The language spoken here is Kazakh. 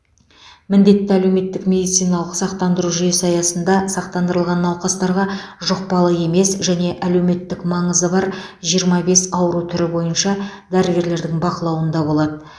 міндетті әлеуметтік медициналық сақтандыру жүйесі аясында сақтандырылған науқастарға жұқпалы емес және әлеуметтік маңызы бар жиырма бес ауру түрі бойынша дәрігерлердің бақылауында болады